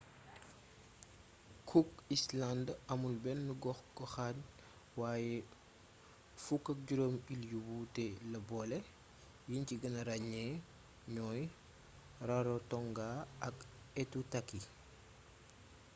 cook islands amul benn gox-goxaan waaye 15 iil yu wuute la boole yiñ ci gëna ràññee ñooy rarotonga ak aitutaki